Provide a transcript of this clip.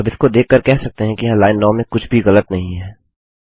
अब इसको देख कर कह सकते हैं कि यहाँ लाइन 9 में कुछ भी ग़लत नहीं है